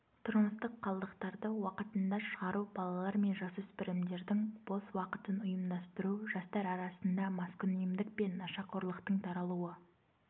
тұрмыстық қалдықтарды уақытында шығару балалар мен жасөспірімдердің бос уақытын ұйымдастыру жастар арасында маскүнемдік пен нашақорлықтың таралуы